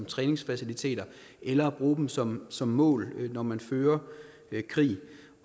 træningsfaciliteter eller at bruge dem som som mål når man fører krig